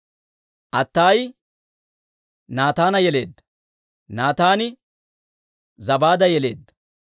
Attaayi Naataana yeleedda; Naataani Zabaada yeleedda;